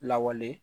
Lawale